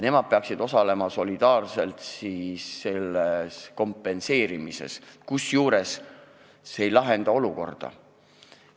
Nemad peaksid sel juhul solidaarselt osalema selles kompenseerimises, kusjuures see ei lahenda olukorda.